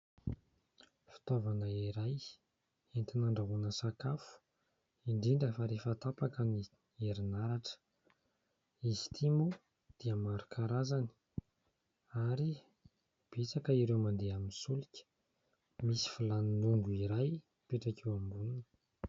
Fitaovana iray entina handrahoana sakafo, indrindra fa rehefa tapaka ny herinaratra. Izy itỳ moa dia maro karazana ary betsaka ireo mandeha amin'ny solika. Misy vilany mongo iray mipetraka eo amboniny.